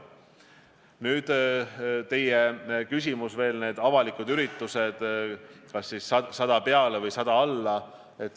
Nüüd, teie küsimus puudutas ka avalike ürituste piiranguid, näiteks kas keelata üle 100 inimesega või ka alla 100 inimesega üritused.